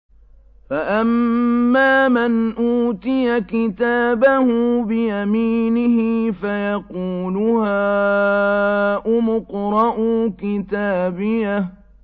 فَأَمَّا مَنْ أُوتِيَ كِتَابَهُ بِيَمِينِهِ فَيَقُولُ هَاؤُمُ اقْرَءُوا كِتَابِيَهْ